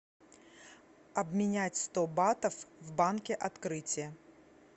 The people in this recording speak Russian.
обменять сто батов в банке открытие